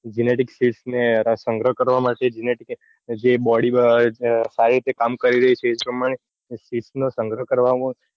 Genetic species મેં સંગ્રહ કરવા માટે genetic body સારી રીતે કામ કરી રહીં છે એ પ્રમાણે નો સંગ્રહ કરવામાં.